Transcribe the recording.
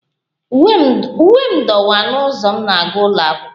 Uwe m dọwaa n'ụzọ m na-aga ụlọ akwụkwọ